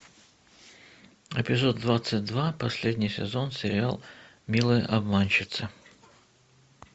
эпизод двадцать два последний сезон сериал милые обманщицы